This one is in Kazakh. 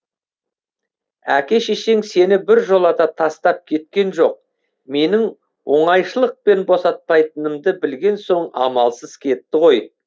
әке шешең сені біржола тастап кеткен жоқ менің оңайшылықпен босатпайтынымды білген соң амалсыз кетті ғой